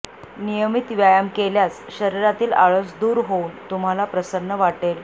नियमित व्यायाम केल्यास शरीरातील आळस दूर होऊन तुम्हाला प्रसन्न वाटेल